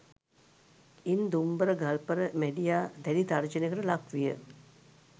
ඉන් දුම්බර ගල්පර මැඬියා දැඩි තර්ජනයකට ලක් විය